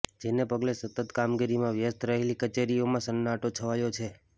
જેને પગલે સતત કામગીરીમાં વ્યસ્ત રહેલી કચેરીઓમાં સન્નાટો છવાયો છે